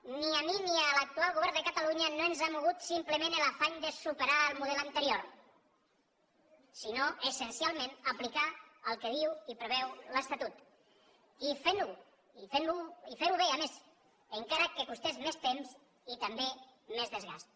ni a mi ni a l’actual govern de catalunya no ens han mogut simplement l’afany de superar el model anterior sinó essencialment aplicar el que diu i preveu l’estatut i fer ho bé a més encara que costés més temps i també més desgast